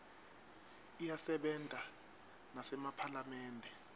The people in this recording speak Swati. iyasebenta nasemaphalamende